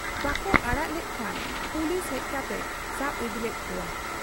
ᱵᱟᱠᱚ ᱚᱲᱟᱜ ᱞᱮᱫ ᱠᱷᱟᱱ ᱯᱩᱞᱤᱥᱦᱮᱡ ᱠᱟᱛᱮᱭ ᱥᱟᱵ ᱤᱫᱤᱞᱮᱫ ᱠᱚᱣᱟ ᱾